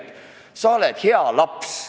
Või millal sa oled hea laps?